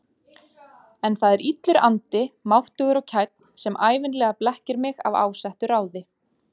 En það er illur andi, máttugur og kænn, sem ævinlega blekkir mig af ásettu ráði.